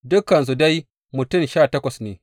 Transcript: Dukansu dai mutum goma sha takwas ne.